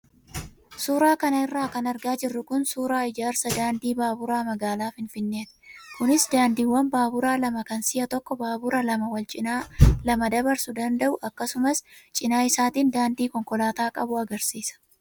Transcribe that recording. Suuraa kanarra kan argaa jirru kun suuraa ijaarsa daandii baaburaa magaalaa Finfinneeti. Kunis daandiiwwan baaburaa lama kan si'a tokko baabura lama wal cinaa lama dabarsuu danda'u akkasumas cinaa isaatiin daandii konkolaataa qabu agarsiisa.